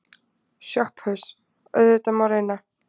SOPHUS: Auðvitað má reyna.